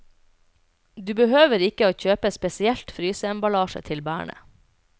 Du behøver ikke å kjøpe spesielt fryseembalasje til bærene.